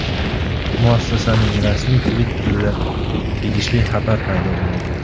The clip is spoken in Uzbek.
Muassasaning rasmiy Twitter’ida tegishli xabar paydo bo‘ldi .